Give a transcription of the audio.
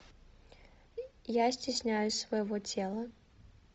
я стесняюсь своего тела